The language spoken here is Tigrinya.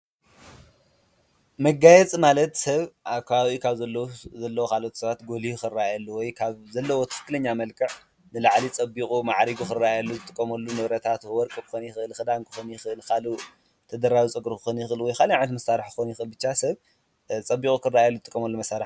መጋየጽ ማለት ሰብ ኣብ ከባቢ ካብ ዘለዉ ኻልኦት ሰባት ጐሊሁ ኽራኣየሉ ወይ ካብ ዘለወ ትክክለኛ መልክዕ ንላዕሊ ጸቢቑ መዓሪጉ ኽራየሉ ዝጥቆመሉ ንብረታት ወርቂ ኮኒን ይኽል፣ ክዳን ክኮን ይኽእልኻሉእ ተደራቢ ጸግሩ ኽኸን ይኽእል ወይ ካሊእ ዓይነት መሳርሕ ክኮን ይክእል ብቻ ሰብ ጸቢቑ ኽራኣየሉ ዝጥቆመሉ መሳርሒ እዩ።